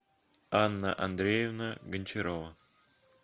анна андреевна гончарова